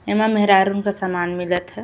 एमा मेहरारू कन सामान मिलत ह।